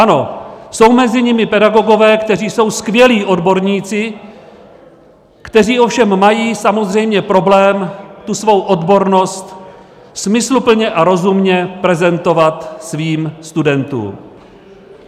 Ano, jsou mezi nimi pedagogové, kteří jsou skvělí odborníci, kteří ovšem mají samozřejmě problém tu svou odbornost smysluplně a rozumně prezentovat svým studentům.